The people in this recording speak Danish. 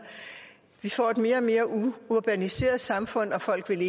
vi får et mere og mere urbaniseret samfund og folk vil